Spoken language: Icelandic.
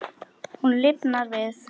Hún lifnar við.